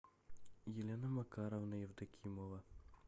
елена макаровна евдокимова